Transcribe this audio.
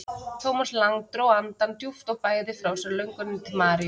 Thomas Lang dró andann djúpt og bægði frá sér lönguninni til Maríu.